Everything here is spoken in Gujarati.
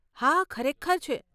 હા, ખરેખર છે.